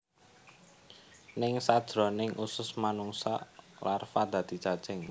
Ning sajroning usus manungsa larva dadi cacing